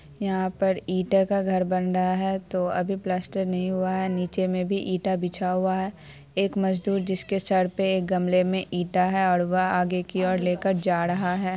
यहाँ पर ईटे का घर बन रहा है तो अभी प्लास्टर नही हुआ निचे में भी ईटा बिछा हुवा है एक मजदूर जिसके सर पे गमले में ईटा है और वो आगे की और लेकर जा रहा हे